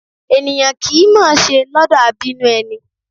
Èniyàn kì í mọ ọn ṣe lọ́dọ̀ abínú ẹni